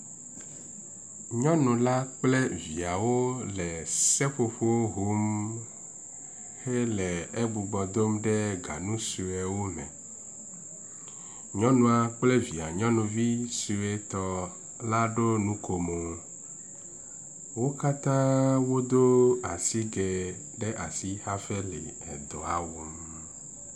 Nyɔnula kple viawo le seƒoƒowo hom hele egbugbɔ dom ɖe ganu suewo me, nyɔnula kple evia suetɔ la ɖo nuko mo, wo katã wodo asige hafi le edɔa wɔm